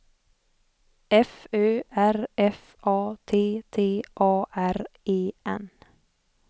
F Ö R F A T T A R E N